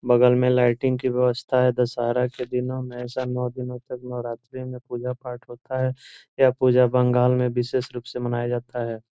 बगल में लाइटिंग की व्यवस्था है दशहरा के दिनों में ऐसा नौ दिनों तक नवरात्रि में पूजा-पाठ होता है यह पूजा बंगाल में विशेष रूप से मनाया जाता है।